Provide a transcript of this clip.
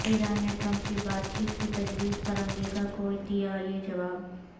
ایران نے ٹرمپ کی بات چیت کی تجویز پر امریکہ کو دیا یہ جواب